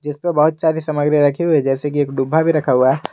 सामग्री में रखी हुई जैसे कि एक डूबा भी रखा हुआ है।